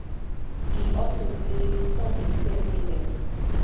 e also say some dey fear say dem fit